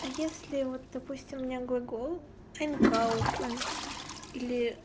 а если вот допустим меня глагол н кауфан или